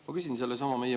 Hea minister!